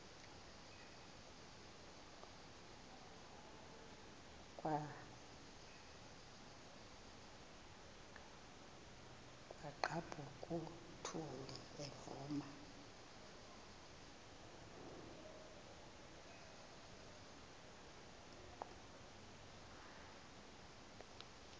kwaqhaphuk uthuli evuma